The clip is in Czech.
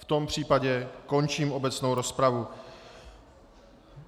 V tom případě končím obecnou rozpravu.